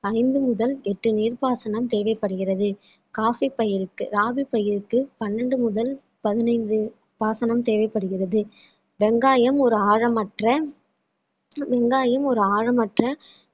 ஐந்து முதல் எட்டு நீர்ப்பாசனம் தேவைப்படுகிறது coffee பயிருக்கு ராவிப்பயிருக்கு பன்னெண்டு முதல் பதினைந்து பாசனம் தேவைப்படுகிறது வெங்காயம் ஒரு ஆழமற்ற வெங்காயம் ஒரு ஆழமற்ற